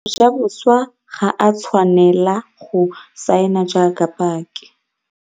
Mojaboswa ga a tshwanela go saena jaaka paki.